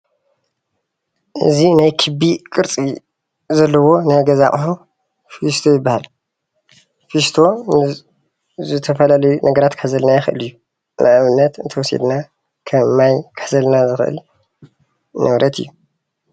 እዚ ናይ ክቢ ቅርፂ ዘለዎ ናይ ገዛ ኣቁሑ ፊስቶ ይባሃል፡፡ ፊስቶ ዝተፈላለዩ ነገራት ክሕዘልና ይክእል እዩ፡፡ ንኣብነት እንተወሲድና ከም ማይ ክሕዘልና ዝክእል ንብረት እዩ፡፡